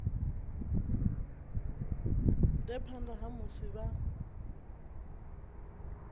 ḓea phanḓa ha musi vha